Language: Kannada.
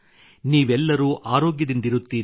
ನೀವೆಲ್ಲರೂ ಆರೋಗ್ಯದಿಂದಿರುತ್ತೀರಿ